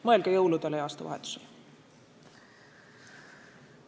Mõelge jõuludele ja aastavahetusele!